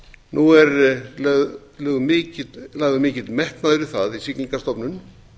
nú er lagður mikill metnaður í það í siglingastofnun